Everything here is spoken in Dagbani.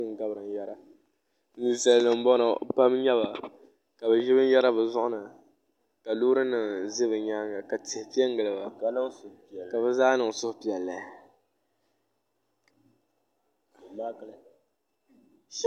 Ninsal nim n bɔŋɔ pam n nyɛba ka bi ʒi binyɛra bi zuɣu ni ka loori nim ʒɛ bi nyaanga ka tihi piɛ n giliba ka bi zaa niŋ suhupiɛlli